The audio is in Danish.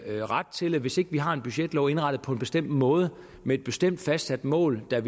ret til hvis ikke vi har en budgetlov indrettet på en bestemt måde med et bestemt fastsat mål der